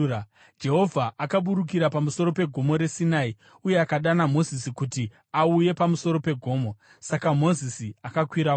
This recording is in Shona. Jehovha akaburukira pamusoro peGomo reSinai uye akadana Mozisi kuti auye pamusoro pegomo. Saka Mozisi akakwirako